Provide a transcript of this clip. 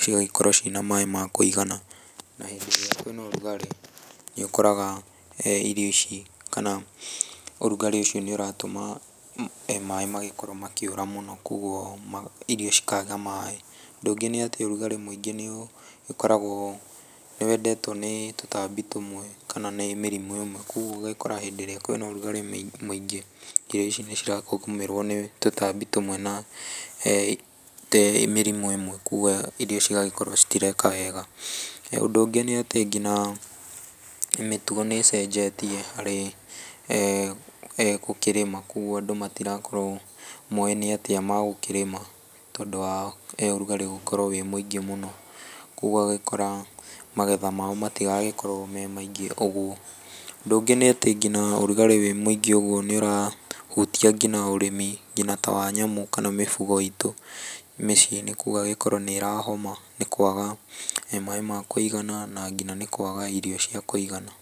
cigagĩkorwo ciĩna maĩ makũigana na hĩndĩ ĩrĩa kwĩna ũrugarĩ nĩ ũkoraga irio ici kana ũrugarĩ ũcio nĩ ũratuma maĩ magĩkorwo makĩũra mũno kogũo irio cikaga maĩ, ũndũ ũngĩ nĩ atĩ ũrugarĩ mwĩngĩ nĩ ũkoragwo nĩ wendetio nĩ tũtambi tũmwe kana nĩ mĩrimũ ĩmwe kogũo ũgagĩkora hĩndĩ ĩrĩa kwĩna ũrugarĩ mwĩngĩ irio ici nĩ iragũmĩrwo nĩ tũtambi tũmwe na mĩrimũ ĩmwe kogwo irio cigakorwo citireka wega, ũndũ ũngĩ nĩ atĩ nginya mĩtugo nĩ ĩcenjetie harĩ gũkĩrĩma kogũo andũ matiragĩkorwo moĩ nĩ atĩ magũkĩrĩma tondũ wa ũrugarĩ gũkorwo wĩ mwĩngĩ mũno kogũo ũgagĩkora magetha mao matiragĩkorwo me maingĩ ũguo, ũndũ ũngĩ nĩ atĩ nginya ũrugarĩ wĩ mwĩngĩ ũgũo nĩ ũrahutia nginya ũrĩmi nginya ta wa nyamu kana mifungo itũ mĩciĩ nĩkũo ũgagĩkora nĩ ĩrahoma nĩ kwaga maĩ ma kũigana na nginya nĩ kwaga irio cia kũigana.